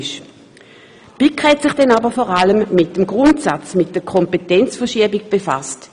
Die BiK hat sich dann aber vor allem mit dem Grundsatz, mit der Kompetenzverschiebung befasst.